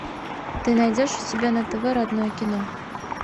ты найдешь у себя на тв родное кино